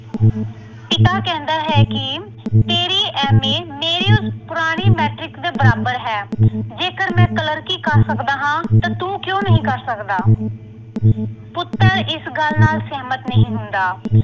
ਪਿਤਾ ਕਹਿੰਦਾ ਹੈ ਕਿ ਤੇਰੀ M. A. ਮੇਰੇ ਉਸ ਪੁਰਾਣੀ Matric ਦੇ ਬਰਾਬਰ ਹੈ ਜੇਕਰ ਮੈਂ ਕਲਰਕੀ ਕਰ ਸਕਦਾ ਹਾਂ, ਤਾਂ ਤੂੰ ਕਿਉਂ ਨਹੀਂ ਕਰ ਸਕਦਾ ਪੁੱਤਰ ਇਸ ਗੱਲ ਨਾਲ ਸਹਿਮਤ ਨਹੀਂ ਹੁੰਦਾ।